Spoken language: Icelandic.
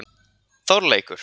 Þorleikur